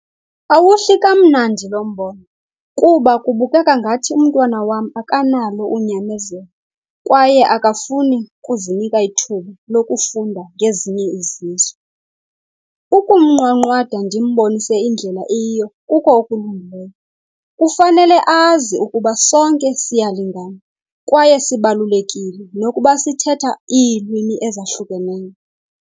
Awuhli kamnandi lo mbono kuba kubukeka ngathi umntwana wam akanalo unyamezelo kwaye akafuni kuzinika ithuba lokufunda ngezinye izizwe. Ukumnqwanqwada ndimbonise indlela eyiyo kuko okulungileyo. Kufanele azi ukuba sonke siyalingana kwaye sibalulekile nokuba sithetha iilwimi ezahlukeneyo.